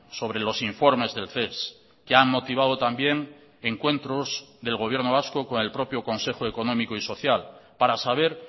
sobre los informes del ces que han motivado también encuentros del gobierno vasco con el propio consejo económico y social para saber